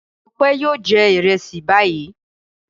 Ọpẹ́ yóò jẹ ìrẹsì báyìí.